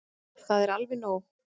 Það er alveg nóg.